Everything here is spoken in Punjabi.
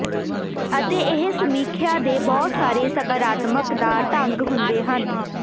ਅਤੇ ਇਹ ਸਮੀਖਿਆ ਦੇ ਬਹੁਤ ਸਾਰੇ ਸਕਾਰਾਤਮਕ ਦਾ ਰੰਗ ਹੁੰਦੇ ਹਨ